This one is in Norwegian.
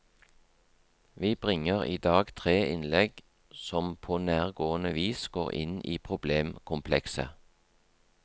Vi bringer idag tre innlegg som på nærgående vis går inn i problemkomplekset.